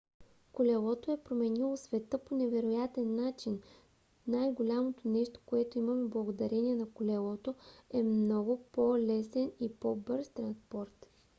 колелото е променило света по невероятен начин. най-голямото нещо което имаме благодарение на колелото е много по-лесен и по-бърз транспорт